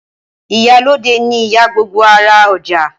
Ìyálóde ni ìyá gbogbo ará ọjà